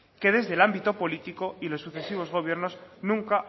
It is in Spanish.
que desde el ámbito político y los sucesivos gobiernos nunca